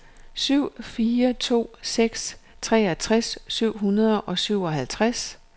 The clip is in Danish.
syv fire to seks toogtres syv hundrede og syvoghalvtreds